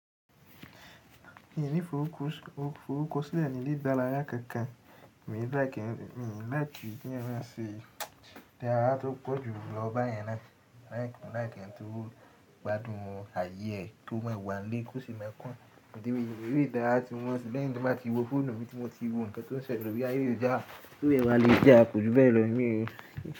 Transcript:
Mi ò ní f'orúkọ sílẹ̀ nílé dárayá kan kan, emi o like, mii like ki eeyan maa se idaraya tó pọ̀jù lọ bayẹn náà. Mo like ẹni tó gbádùn ààyè ẹ́ kó máa wà nílé kó sì má òdíwọ̀n, eré ìdárayá tí wọ́n, bí èmi bá ti wo fóònù mi tí mo ti wo nǹkan tí ó ń sọ rí, bí ààyè yìí dà, tó ẹ̀wà le dà, kò jù bẹ́ẹ̀ lọ ní òní.